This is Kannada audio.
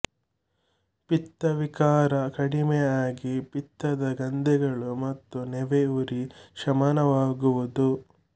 ಪಿತ್ತ ವಿಕಾರ ಕಡಿಮೆ ಆಗಿ ಪಿತ್ತದ ಗಂಧೆಗಳು ಮತ್ತು ನೆವೆ ಉರಿ ಶಮನವಾಗುವುದು